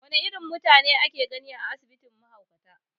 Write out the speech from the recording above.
Wane irin mutane ake gani a asibitin mahaukata?